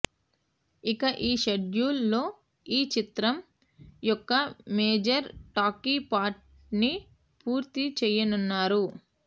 ఇక ఈ షెడ్యూల్ లో ఈ చిత్రం యొక్క మేజర్ టాకీ పార్ట్ ని పూర్తి చెయ్యనున్నారు